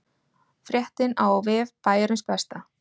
Fréttin á vef Bæjarins Besta